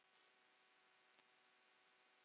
Hvar er Eva?